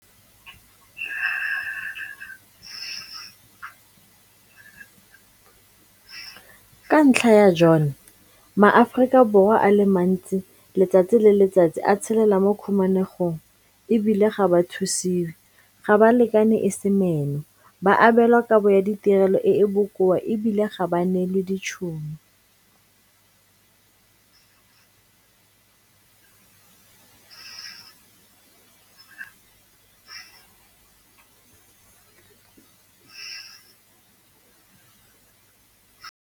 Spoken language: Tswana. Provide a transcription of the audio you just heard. Ka ntlha ya jone, maAforika Borwa a le mantsi letsatsi le letsatsi a tshelela mo khumanegong e bile ga ba thusiwe, ga ba lekane e se meno, ba abelwa kabo ya ditirelo e e bokoa e bile ga ba neelwe ditšhono.